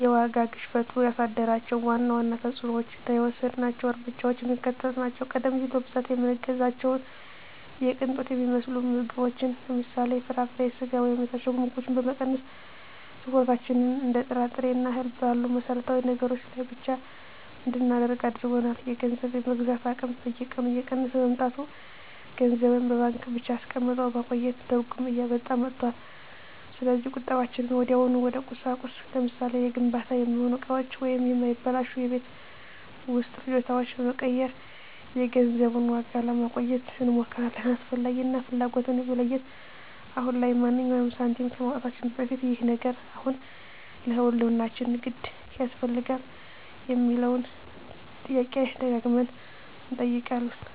የዋጋ ግሽበቱ ያሳደራቸው ዋና ዋና ተፅዕኖዎችና የወሰድናቸው እርምጃዎች የሚከተሉት ናቸው፦ ቀደም ሲል በብዛት የምንገዛቸውን የቅንጦት የሚመስሉ ምግቦችን (ለምሳሌ፦ ፍራፍሬ፣ ስጋ ወይም የታሸጉ ምግቦች) በመቀነስ፣ ትኩረታችንን እንደ ጥራጥሬና እህል ባሉ መሠረታዊ ነገሮች ላይ ብቻ እንድናደርግ አድርጎናል። የገንዘብ የመግዛት አቅም በየቀኑ እየቀነሰ በመምጣቱ፣ ገንዘብን በባንክ ብቻ አስቀምጦ ማቆየት ትርጉም እያጣ መጥቷል። ስለዚህ ቁጠባችንን ወዲያውኑ ወደ ቁሳቁስ (ለምሳሌ፦ ለግንባታ የሚሆኑ እቃዎች ወይም የማይበላሹ የቤት ውስጥ ፍጆታዎች) በመቀየር የገንዘቡን ዋጋ ለማቆየት እንሞክራለን። "አስፈላጊ" እና "ፍላጎት"ን መለየት፦ አሁን ላይ ማንኛውንም ሳንቲም ከማውጣታችን በፊት "ይህ ነገር አሁን ለህልውናችን የግድ ያስፈልጋል?" የሚለውን ጥያቄ ደጋግመን እንጠይቃለን።